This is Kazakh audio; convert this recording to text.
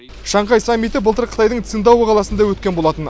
шанхай саммиті былтыр қытайдың циндао қаласында өткен болатын